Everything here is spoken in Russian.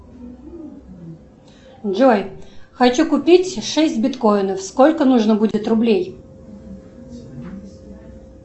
джой хочу купить шесть биткоинов сколько нужно будет рублей